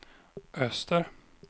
öster